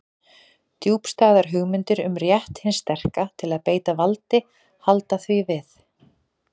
Djúpstæðar hugmyndir um rétt hins sterka til að beita valdi halda því við.